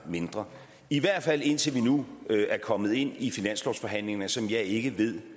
mindre i hvert fald indtil vi nu er kommet ind i finanslovsforhandlingerne som jeg ikke